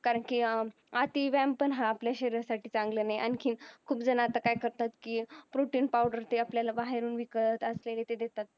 कारण की अति व्यायाम पण हा आपल्या शरीरासाठी चांगला नाही आणखीन खूप जण आता काय करतात की protein powder ते आपल्याला बाहेरून विकत असलेले ते देतात